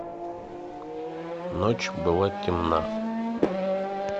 ночь была темна